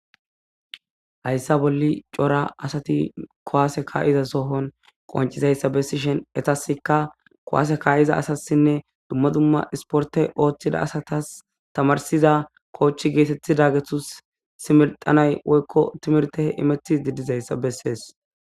hayssa bolli cora asati kowaase ka7iza sohon qoncizayssa bessishen etaska kowaase kaa7iza asassinne dumma dumma isporte ooththida asatas tamarsiza koochi geetetthi da gethus similxanay woykko timirte imetti diddizayssa bessees